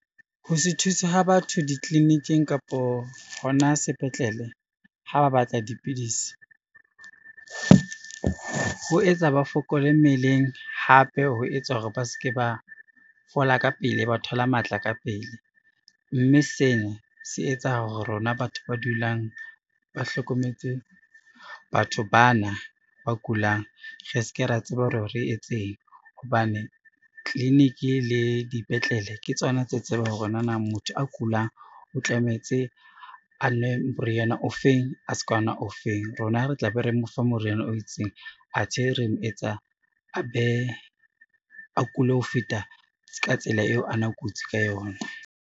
Ho se thusa ho batho ditleleniking kapo ho na sepetlele, ha ba batla dipidisi ho etsa ba fokola mmeleng, hape ho etsa hore ba ske ba fola ka pele, ba thola matla ka pele. Mme sena se etsa hore rona batho ba dulang ba hlokometse batho bana ba kulang, re se ke ra tseba hore re etseng hobane, clinic le dipetlele ke tsona tse tsebang hore nanang motho a kulang o tlametse a nwe moriana ofeng, a ska ona ofeng. Rona re tla be re mo fa moriana o itseng athe re mo etsa a be a kule ho feta ka tsela eo ana kutsi ka yona.